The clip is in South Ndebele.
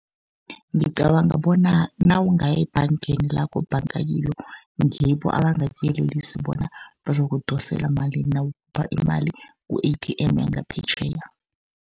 Ngicabanga bona nawungaya ebhangeni lakho obhanga kilo, ngibo abangakuyelelisa bona bazokudosela malini, nawukhipha imali ku-A_T_M yangaphetjheya.